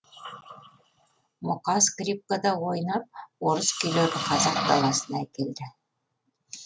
мұқа скрипкада ойнап орыс күйлерін қазақ даласына әкелді